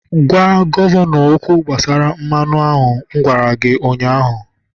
gwa gọvanọ okwu gbasara mmanụ a. Agwara m gi ụnyahụ!